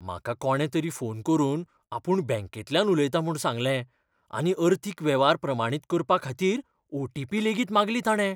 म्हाका कोणे तरी फोन करून आपूण बँकेंतल्यान उलयता म्हूण सांगलें आनी अर्थीक वेव्हार प्रमाणीत करपा खातीरओटीपी लेगीत मागली ताणें.